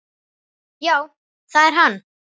Já, það er hann.